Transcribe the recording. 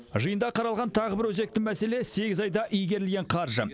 жиында қаралған тағы бір өзекті мәселе сегіз айда игерілген қаржы